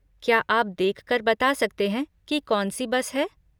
क्या आप देख कर बता सकते हैं कि कौन सी बस है?